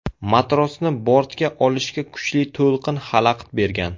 Matrosni bortga olishga kuchli to‘lqin xalaqit bergan.